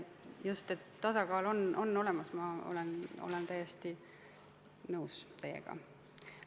Just, tasakaal peab olemas olema, ma olen täiesti nõus teiega.